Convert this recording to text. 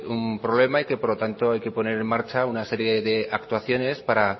un problema y que por lo tanto hay que poner en marcha una serie de actuaciones para